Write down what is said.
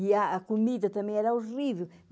E a comida também era horrível.